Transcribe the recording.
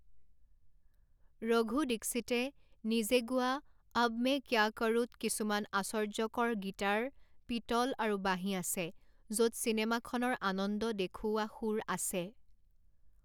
ৰঘু দীক্ষিতে নিজে গোৱা অব মে ক্যা কৰুত কিছুমান আশ্চৰ্য্যকৰ গীটাৰ পিতল আৰু বাঁহী আছে য'ত চিনেমাখনৰ আনন্দ দেখুওৱা সুৰ আছে।